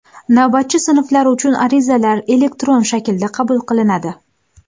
Navbatchi sinflar uchun arizalar elektron shaklda qabul qilinadi.